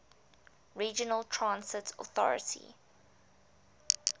regional transit authority